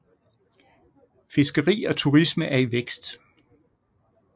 Fiskeri og turisme er i vækst